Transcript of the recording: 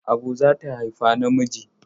Abu za ta haifa namiji.